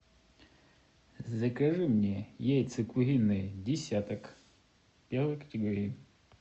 закажи мне яйца куриные десяток первой категории